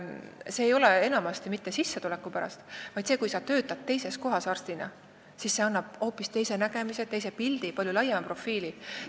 Seda ei tehta enamasti mitte sissetuleku pärast, vaid eelkõige sellepärast, et teises kohas arstina töötamine annab hoopis teise nägemise ja pildi, palju laiema profiili.